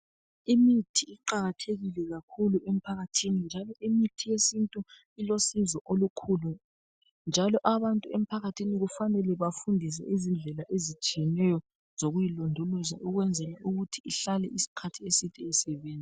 Imithi iqakathekile kakhulu emphakathini njalo imithi yesintu ilosizo olukhulu , njalo abantu emphakathini kufanele bafundiswe izindlela ezitshiyeneyo zokuyilondoloza ukwenzela ukuthi ihlale isikhathi eside isebenza.